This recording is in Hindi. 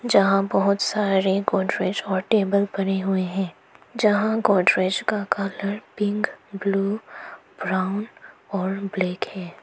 जहां बहुत सारे गोदरेज और टेबल पड़े हुए है। जहां गोदरेज का कलर पिंक ब्लू ब्राउन और ब्लैक है।